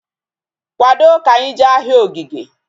Kwado ka anyị jee ahịa Ogige!